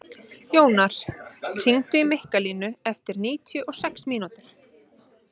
Jónar, hringdu í Mikkalínu eftir níutíu og sex mínútur.